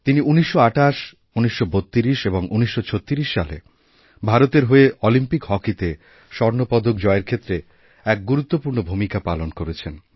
তিনি ১৯২৮ ১৯৩২ এবং ১৯৩৬ সালে ভারতেরহয়ে অলিম্পিক হকিতে স্বর্ণপদক জয়ের ক্ষেত্রে এক গুরুত্বপূর্ণ ভূমিকা পালন করেছেন